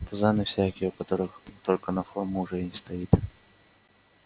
пузаны всякие у которых только на форму уже и стоит